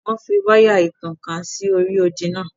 Wọ́n fi wáyà ìtànká sí orí odì náà.